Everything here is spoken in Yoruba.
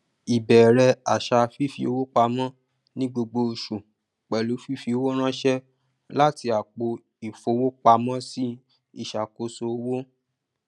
ìbẹrẹ àṣà fifi owó pamọ ní gbogbo oṣù pẹlú fífi owó ránṣẹ láti àpò ìfowópamọsí ìṣàkóso owó